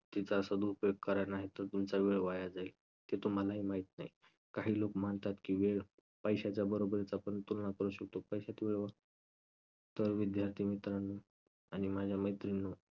तिचा सदुपयोग करा नाहीतर तुमचा वेळ वाया जाईल. ते तुम्हाला ही माहित नाही. काही लोक मानतात की वेळ पैशाच्या बरोबरीचा आपण तुलना करू शकतो, पैशाची व्यव~. तर विद्यार्थी मित्रांनो आणि माझ्या मैत्रिणींनो